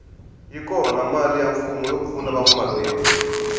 yi kona mali ya mfumo yo pfuna vanwa mabindzu